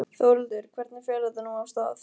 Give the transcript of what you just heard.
Þórhildur, hvernig fer þetta nú af stað?